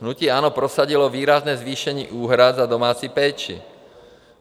Hnutí ANO prosadilo výrazné zvýšení úhrad za domácí péči.